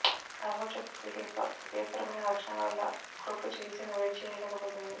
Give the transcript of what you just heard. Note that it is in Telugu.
ఆకుపచ్చ బుక్వీట్ యొక్క ఉపయోగకరమైన లక్షణాల వల్ల క్రోప్ట్ చికిత్సను వేడి చేయలేకపోతుంది